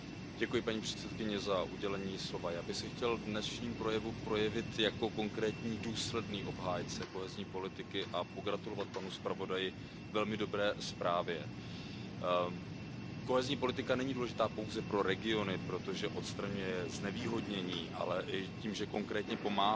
Paní předsedající, já bych se chtěl v dnešním projevu projevit jako konkrétní, důsledný obhájce kohezní politiky a pogratulovat panu zpravodaji k velmi dobré zprávě. Kohezní politika není důležitá pouze pro regiony, protože odstraňuje znevýhodnění, ale tím, že konkrétně pomáhá